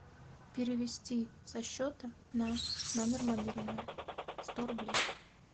перевести со счета на номер мобильного сто рублей